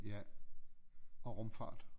Ja og rumfart